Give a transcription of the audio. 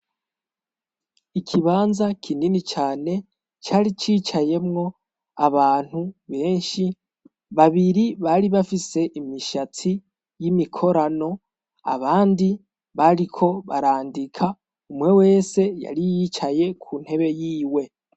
Ikibanza kinini cane cari cicayemwo abantu benshi, babiri bari bafise imishatsi y'imikorano, abandi bariko barandika umwe wese yari yicaye ku ntebe yiwe.